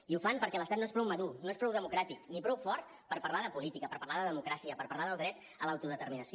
i ho fan perquè l’estat no és prou madur no és prou democràtic ni prou fort per parlar de política per parlar de democràcia per parlar del dret a l’autodeterminació